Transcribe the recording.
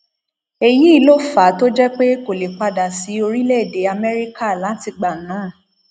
èyí ló fà á tó fi jẹ pé kò lè padà sí orílẹèdè amẹríkà látìgbà náà